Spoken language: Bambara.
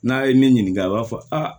N'a ye min ɲininka a b'a fɔ aa